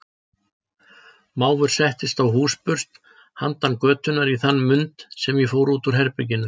Mávur settist á húsburst handan götunnar í þann mund sem ég fór út úr herberginu.